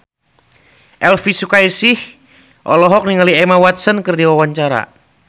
Elvi Sukaesih olohok ningali Emma Watson keur diwawancara